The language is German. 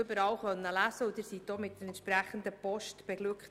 Sie wurden auch mit der entsprechenden Post «beglückt».